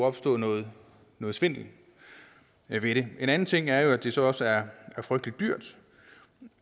opstå noget svindel ved det en anden ting er at det så også er frygtelig dyrt